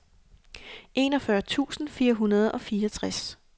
enogfyrre tusind fire hundrede og fireogtres